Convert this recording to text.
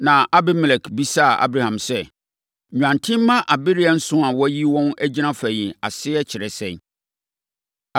Na Abimelek bisaa Abraham sɛ, “Nnwanten mma abereɛ nson a woayi wɔn agyina fa yi ase kyerɛ sɛn?”